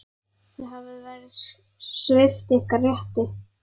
Þið hafið verið svipt ykkar rétti.